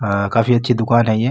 अ काफी अच्छी दुकान है ये।